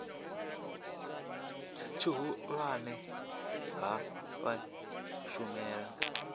tshihulwane ha vha u shumela